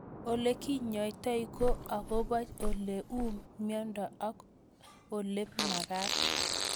Ole kinyoitoi ko akopo ole uu miondo ak ole magat